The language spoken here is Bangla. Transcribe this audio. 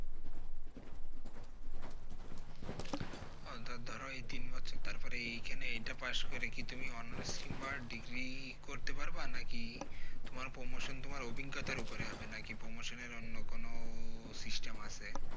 ও তো ধরো এই তিন বছর তারপরে এই খানে inter pass করে কি তুমি honor's কিংবা Degree করতে পারবা নাকি তোমার promotion তোমার অভিজ্ঞতার উপরে হবে নাকি promotion এর অন্য কোন system আছে?